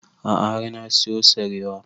A'a har na siyo sarewa